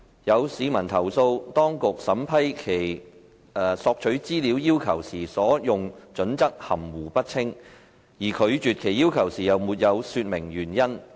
有市民投訴，當局審批其索取資料要求時所用準則含糊不清，而拒絕其要求時又沒有說明理由。